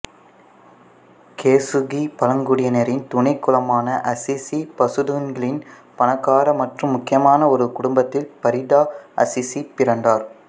கெசுகி பழங்குடியினரின் துணை குலமான அசிசி பசுடூன்களின் பணக்கார மற்றும் முக்கியமான ஒரு குடும்பத்தில் பரிதா அசிசி பிறந்தார்